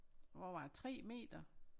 Over 3 meter